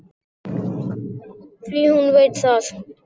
Því hún veit það.